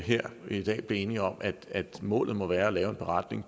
her i dag blev enige om at målet må være at lave en beretning